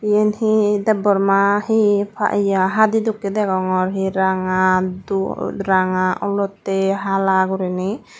iyan he deborma he yeh hadi dokkey degongor he ranga dup ranga olottey hala guriney.